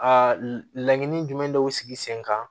Aa laɲini jumɛn dɔw sigi sen kan